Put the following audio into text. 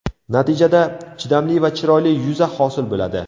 Natijada, chidamli va chiroyli yuza hosil bo‘ladi.